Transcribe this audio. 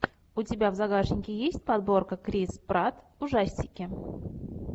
у тебя в загашнике есть подборка крис пратт ужастики